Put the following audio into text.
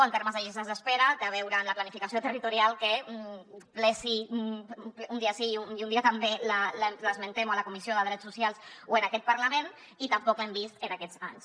en termes de llistes d’espera té a veure amb la planificació territorial que un dia sí i un dia també l’esmentem o a la comissió de drets socials o en aquest parlament i tampoc l’hem vist en aquests anys